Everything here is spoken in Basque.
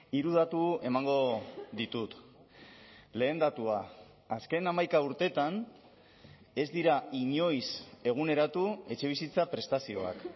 hiru datu emango ditut lehen datua azken hamaika urteetan ez dira inoiz eguneratu etxebizitza prestazioak